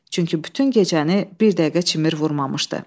Çünki bütün gecəni bir dəqiqə çimir vurmamışdı.